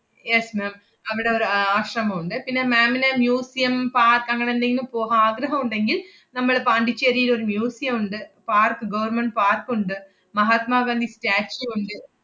yes ma'am അവടെ ഒരു ആഹ് ആശ്രമം ഉണ്ട്. പിന്നെ ma'am ന് museum park അങ്ങനെ എന്തെങ്കിലും പോഹാ~ ആഗ്രഹം ഒണ്ടെങ്കില്‍, നമ്മളെ പോണ്ടിച്ചേരിലൊരു museum ഒണ്ട്, park government park ഉണ്ട്, മഹാത്മാ ഗാന്ധി statue ഒണ്ട്.